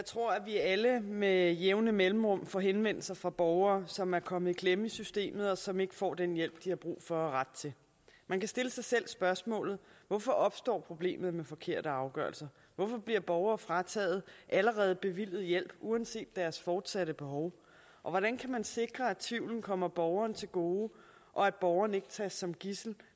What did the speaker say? alle med jævne mellemrum får henvendelser fra borgere som er kommet i klemme i systemet og som ikke får den hjælp de har brug for og ret til man kan stille sig selv spørgsmålet hvorfor opstår problemet med forkerte afgørelser hvorfor bliver borgere frataget allerede bevilget hjælp uanset deres fortsatte behov og hvordan kan man sikre at tvivlen kommer borgeren til gode og at borgeren ikke tages som gidsel